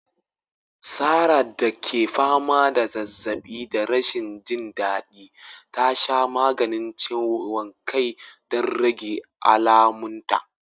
Sarah da ke fama da zazzaɓi da rashin jin daɗi, ta sha maganin ciwon kai don rage alamunta.